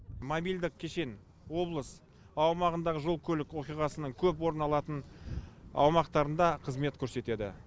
мобильдік кешен облыс аумағындағы жол көлік оқиғасының көп орын алатын аумақтарында қызмет көрсетеді